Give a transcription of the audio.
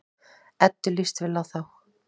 Eddu líst vel á þá.